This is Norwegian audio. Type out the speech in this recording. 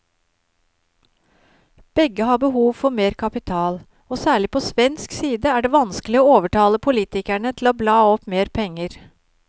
Begge har behov for mer kapital, og særlig på svensk side er det vanskelig å overtale politikerne til å bla opp mer penger.